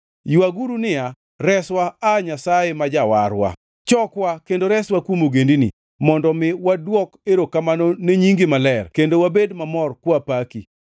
Ywaguru niya, “Reswa aa Nyasaye ma Jawarwa, chokwa kendo reswa kuom ogendini, mondo mi wadwok erokamano ne nyingi maler kendo wabed mamor kwapaki.”